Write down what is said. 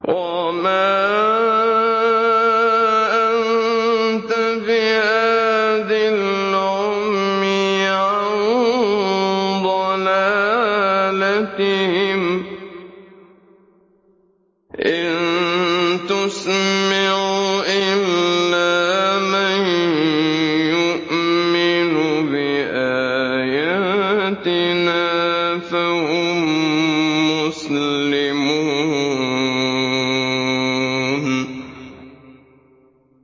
وَمَا أَنتَ بِهَادِي الْعُمْيِ عَن ضَلَالَتِهِمْ ۖ إِن تُسْمِعُ إِلَّا مَن يُؤْمِنُ بِآيَاتِنَا فَهُم مُّسْلِمُونَ